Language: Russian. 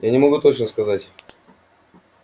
я не могу точно сказать